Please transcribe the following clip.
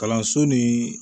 Kalanso ni